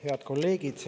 Head kolleegid!